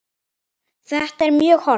Þetta er mjög hollt.